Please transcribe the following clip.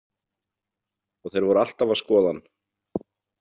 Og þeir voru alltaf að skoða hann!